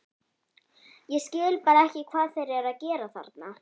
Ég skil bara ekki hvað þeir eru að gera þarna?